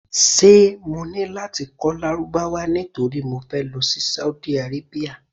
Ṣé mo ní láti kọ́ Lárúbáwá nítorí mo fẹ́ lọ sí Saudi Arabia?